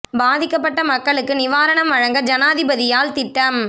பாதிக்கப்பட்ட மக்களுக்கு நிவாரணம் வழங்க ஜனாதிபதியால் திட்டம்